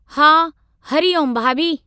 हा, हरी ओम भाभी।